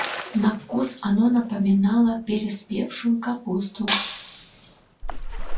на вкус оно напоминало переспевшую капусту